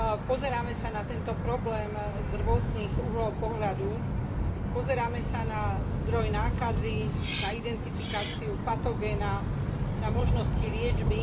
Pozeráme sa na tento problém z rôznych uhlov pohľadu, pozeráme sa na zdroj nákazy, na identifikáciu patogénu, na možnosti liečby.